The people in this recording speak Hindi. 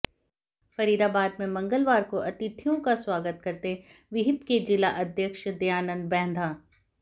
फरीदाबाद में मंगलवार को अतिथियों का स्वागत करते विहिप के जिलाध्यक्ष दयानन्द बैंदा